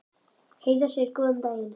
Heiða segir góðan daginn!